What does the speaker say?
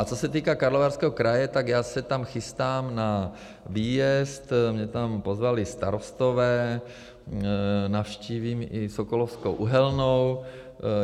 A co se týká Karlovarského kraje, tak já se tam chystám na výjezd, mě tam pozvali starostové, navštívím i Sokolovskou uhelnou.